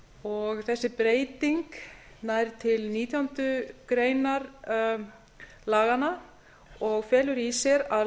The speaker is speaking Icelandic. og þessi breyting nær til nítjánda grein laganna og felur í sér að